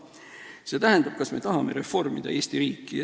See tähendab, kas me tahame reformida Eesti riiki.